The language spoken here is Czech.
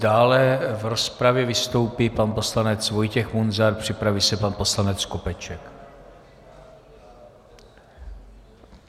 Dále v rozpravě vystoupí pan poslanec Vojtěch Munzar, připraví se pan poslanec Skopeček.